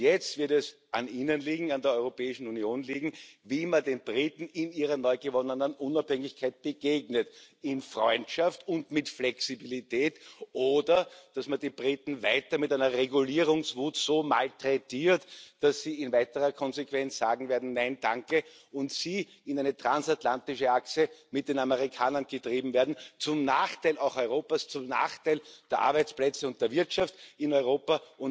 Jetzt wird es an Ihnen liegen, an der Europäischen Union liegen, wie man den Briten in ihrer neu gewonnenen Unabhängigkeit begegnet in Freundschaft und mit Flexibilität, oder dass man die Briten weiter mit einer Regulierungswut so malträtiert, dass sie in weiterer Konsequenz sagen werden nein, danke und sie in eine transatlantische Achse mit den Amerikanern getrieben werden zum Nachteil auch Europas, zum Nachteil der Arbeitsplätze und der Wirtschaft in Europa.